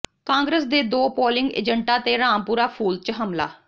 ਕਾਂਗਰਸ ਦੇ ਦੋ ਪੋਲਿੰਗ ਏਜੰਟਾਂ ਤੇ ਰਾਮਪੁਰਾ ਫੂਲ ਚ ਹਮਲਾ